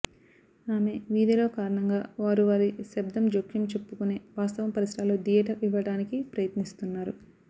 ఆమె వీధిలో కారణంగా వారు వారి శబ్దం జోక్యం చెప్పుకునే వాస్తవం పరిసరాల్లో థియేటర్ ఇవ్వడానికి ప్రయత్నిస్తున్నారు